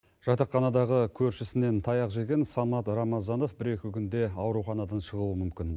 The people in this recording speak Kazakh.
жатақханадағы көршісінен таяқ жеген самат рамазанов бір екі күнде ауруханадан шығуы мүмкін